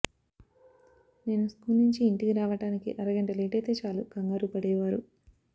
నేను స్కూల్ నుంచి ఇంటికి రావడానికి అరగంట లేటైతే చాలు కంగారుపడేవారు